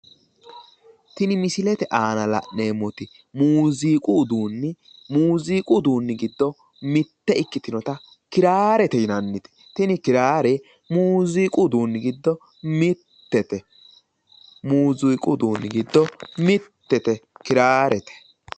Tini misilete la'neemmoti muuziiqu uduunni giddo mitte ikkitinnota kiraare te yinannite. Tini kiraare muuziiqu uduunni giddo mittete. Muuziiqu uduunni giddo mittete kiraarete.